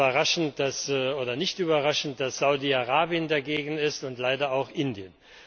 Es ist nicht überraschend, dass Saudi Arabien dagegen ist und leider auch Indien.